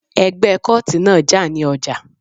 Ẹgbẹ́ kóòtì náà jà ní ọjà